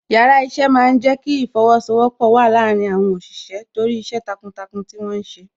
Yàrá iṣẹ́ máa ń jẹ kí ìfosowọpọ̀ wà láàárín àwọn òṣìṣẹ́ torí iṣẹ́ takuntakun tí wọ́n ti ṣe.